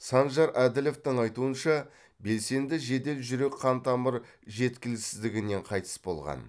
санжар әділовтың айтуынша белсенді жедел жүрек қантамыр жеткіліксіздігінен қайтыс болған